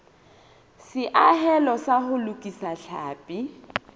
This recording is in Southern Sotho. seahelo sa ho lokisa tlhapi